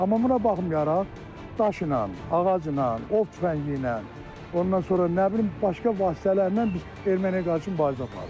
Amma buna baxmayaraq, daşla, ağacla, ov tüfəngliylə, ondan sonra nə bilim, başqa vasitələrlə biz erməniyə qarşı mübarizə apardıq.